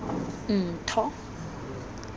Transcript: ntho